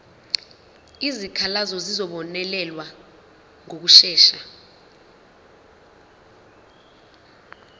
izikhalazo zizobonelelwa ngokushesha